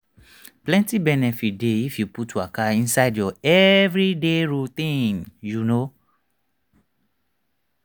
plenty benefit dey if you put waka inside your everyday routine you know.